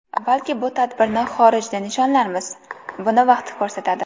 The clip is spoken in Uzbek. Balki bu tadbirni xorijda nishonlarmiz... Buni vaqt ko‘rsatadi.